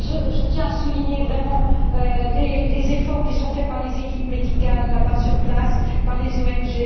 Je tiens à souligner vraiment les efforts qui sont faits par les équipes médicales, là bas sur place, par les ONG.